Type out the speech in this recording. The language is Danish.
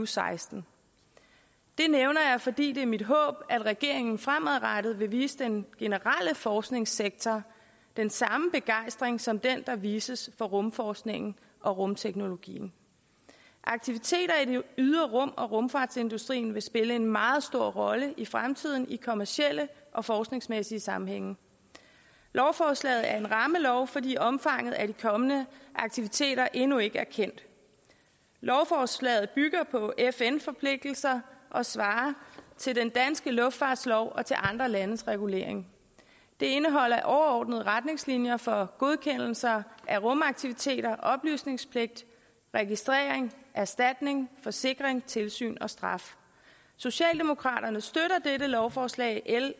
seksten det nævner jeg fordi det er mit håb at regeringen fremadrettet vil vise den generelle forskningssektor den samme begejstring som den der vises for rumforskningen og rumteknologien aktiviteter i det ydre rum og rumfartsindustrien vil spille en meget stor rolle i fremtiden i kommercielle og forskningsmæssige sammenhænge lovforslaget er en rammelov fordi omfanget af de kommende aktiviteter endnu ikke er kendt lovforslaget bygger på fn forpligtelser og svarer til den danske luftfartslov og til andre landes regulering det indeholder overordnede retningslinjer for godkendelse af rumaktiviteter oplysningspligt registrering erstatning forsikring tilsyn og straf socialdemokraterne støtter dette lovforslag l